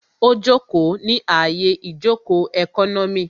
Ó jòkó ní àyè ìjòkó ẹkọ́nọ́mì